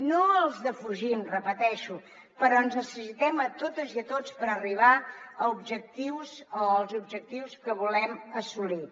no els defugim ho repeteixo però ens necessitem a totes i a tots per arribar als objectius que volem assolir